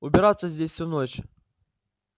убираться здесь всю ночь